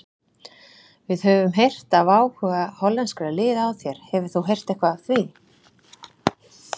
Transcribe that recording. Við höfum heyrt af áhuga hollenskra liða á þér, hefur þú heyrt eitthvað af því?